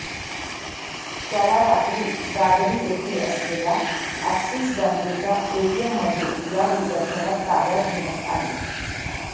त्याला रात्री दादरी येथे असलेल्या अॅक्सिस बँकेच्या एटीएममध्ये या विद्यार्थ्याला ताब्यात घेण्यात आले